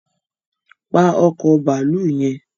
Pa ọkọ̀ bàálù yẹn